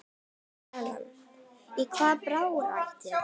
Inga Sæland: Í hvaða baráttu?